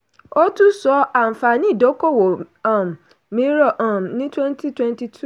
ó tún sọ̀rọ̀ àǹfààní ìdókòwò um mìíràn um ní twenty twenty two